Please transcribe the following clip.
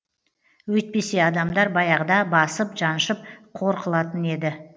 өйтпесе адамдар баяғыда басып жаншып қор қылатын еді